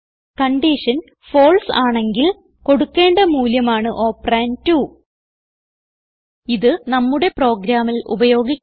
condition false ആണെങ്കിൽ കൊടുക്കേണ്ട മൂല്യമാണ് ഓപ്പറണ്ട് 2 ഇത് നമ്മുടെ പ്രോഗ്രാമിൽ ഉപയോഗിക്കാം